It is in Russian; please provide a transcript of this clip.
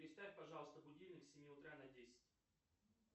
переставь пожалуйста будильник с семи утра на десять